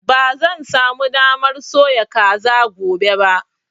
Ba zan sa mu damar soya kaza gobe ba